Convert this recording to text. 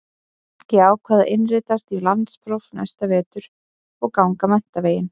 Ég ákvað að innritast í landspróf næsta vetur og ganga menntaveginn.